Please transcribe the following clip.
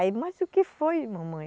Aí, mas o que foi, mamãe?